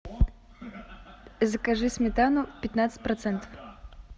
закажи сметану пятнадцать процентов